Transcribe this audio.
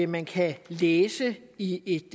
man kan læse i et